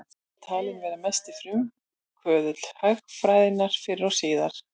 Hver er talinn vera mesti frumkvöðull hagfræðinnar fyrr og síðar?